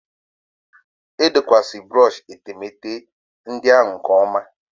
Edokwaghị brọshị etemeete ndị ahụ nke ọma